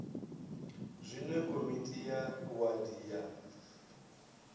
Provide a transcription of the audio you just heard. zwine komiti ya wadi ya